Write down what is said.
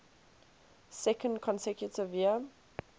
second consecutive year